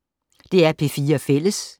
DR P4 Fælles